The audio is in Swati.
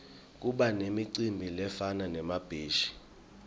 kubanemicimbi lefana nemabheshi